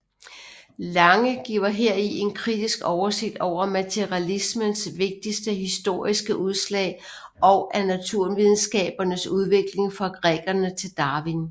Lange giver heri en kritisk oversigt over materialismens vigtigste historiske udslag og af naturvidenskabernes udvikling fra grækerne til Darwin